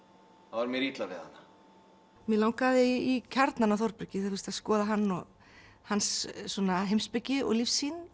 þá er mér illa við hana mig langaði í kjarnann á Þórbergi að skoða hann og hans heimspeki og lífssýn